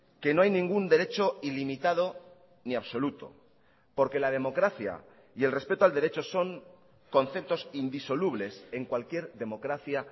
que no hay ningún derecho ilimitado ni absoluto porque la democracia y el respeto al derecho son conceptos indisolubles en cualquier democracia